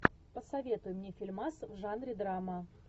посоветуй мне фильмас в жанре драма